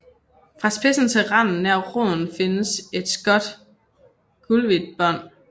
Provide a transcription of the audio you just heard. Fra spidsen til randen nær roden findes et skåt gulhvidt bånd